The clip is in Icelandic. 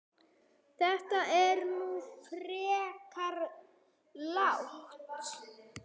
Þetta er nú frekar lágt